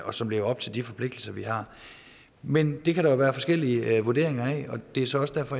og som lever op til de forpligtelser vi har men det kan der jo være forskellige vurderinger af og det er så også derfor